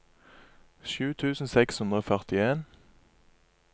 sju tusen seks hundre og førtien